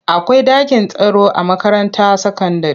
Akwai dakin taro a makaranta sakandire.